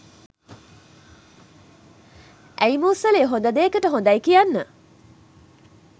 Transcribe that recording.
ඇයි මූසලයෝ හොද දේකට හොදයි කියන්න